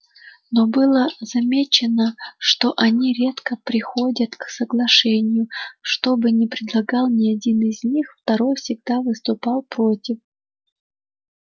но было замечено что они редко приходят к соглашению что бы ни предлагал ни один из них второй всегда выступал против